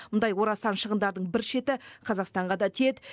мұндай орасан шығындардың бір шеті қазақстанға да тиеді